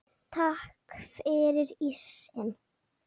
Takk fyrir ísinn.